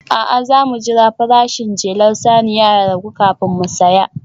A'a, za mu jira farashin jelar saniya ya ragu kafin mu saya